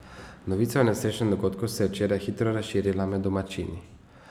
Novica o nesrečnem dogodku se je včeraj hitro razširila med domačini.